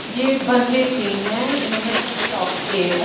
ये बंदे तीन है इन्होंने हैंडलॉक्स किए है।